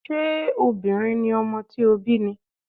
Ṣé obìnrin ni ọmọ tí ó bí ni?